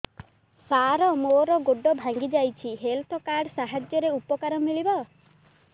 ସାର ମୋର ଗୋଡ଼ ଭାଙ୍ଗି ଯାଇଛି ହେଲ୍ଥ କାର୍ଡ ସାହାଯ୍ୟରେ ଉପକାର ମିଳିବ